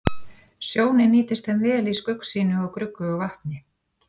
Sjónin nýtist þeim vel í skuggsýnu og gruggugu vatni.